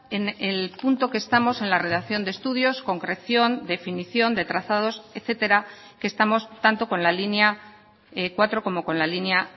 en el punto que estamos en la redacción de estudios concreción definición de trazados etcétera que estamos tanto con la línea cuatro como con la línea